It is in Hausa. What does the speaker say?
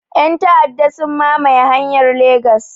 Yan ta'aɗa sun mamaye hanyar Legas